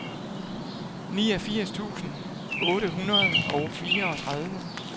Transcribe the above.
niogfirs tusind otte hundrede og fireogtredive